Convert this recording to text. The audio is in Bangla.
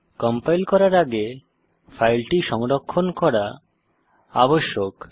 কম্পাইল করার আগে ফাইলটি সংরক্ষণ করা আবশ্যক